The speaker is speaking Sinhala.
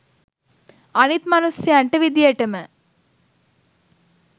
අනිත් මනුස්සයන්ට විදියටම